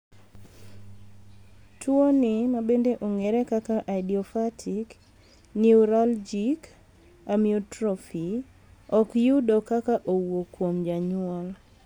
tuoni ma bende ong'ere kaka idiopathic neuralgic amyotrophy, ok yudo ka owuok kuom janyuol .